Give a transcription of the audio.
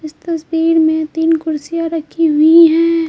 इस तस्वीर में तीन कुर्सियां रखी हुई हैं।